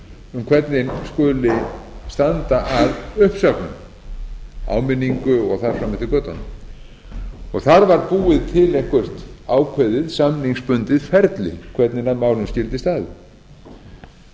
um hvernig skuli standa að uppsögnum áminningu og þar fram eftir götunum þar var búið til eitthvert ákveðið samningsbundið ferli hvernig að málum skyldi